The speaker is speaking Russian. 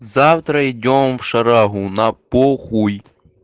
завтра идём в шарагу на похуй